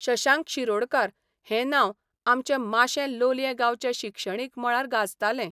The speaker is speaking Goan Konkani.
शशांक शिरोडकार हें नांव आमचे माशें लोलयें गांवच्या शिक्षणीक मळार गाजतालें.